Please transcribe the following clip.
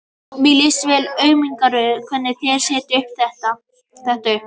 Mér líst vel á umgjörðina, hvernig þeir setja þetta upp.